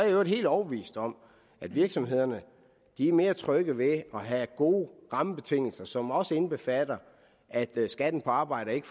i øvrigt helt overbevist om at virksomhederne er mere trygge ved at have gode rammebetingelser som også indbefatter at skatten på arbejde ikke